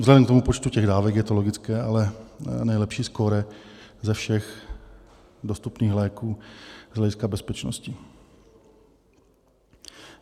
Vzhledem k tomu počtu těch dávek je to logické, ale nejlepší skóre ze všech dostupných léků z hlediska bezpečnosti.